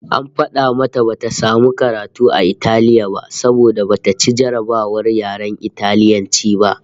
AN fada mata bata samu karatu a Italiya ba saboda bata ci jarrabawar yaren Italiyanci ba